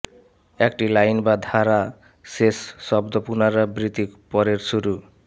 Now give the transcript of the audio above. একটি লাইন বা ধারা শেষ শব্দ পুনরাবৃত্তি পরের শুরু